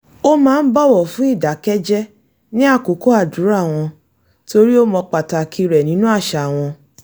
ó máa ń bọ̀wọ̀ fún ìdákẹ́jẹ́ ní àkókò àdúrà wọn torí ó mọ̀ pàtàkì rẹ̀ nínú àṣà wọn